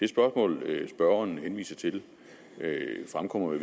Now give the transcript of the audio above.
spørgeren henviser til fremkommer i